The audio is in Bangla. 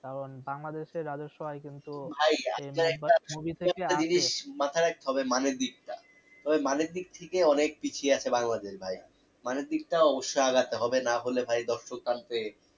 কারণ বাংলাদেশ এর রাজ্যস আয় কিন্তু মাথায় রাখতে হবে money র দিকটা money র দিক থেকে অনেক পিছিয়ে আছে বাংলাদেশ ভাই money দিক টা অবশ্য আগাতে হবে নাহলে ভাই